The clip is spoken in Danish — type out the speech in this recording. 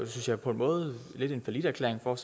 synes jeg på en måde lidt en falliterklæring for